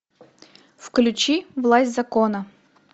включи власть закона